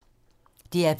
DR P2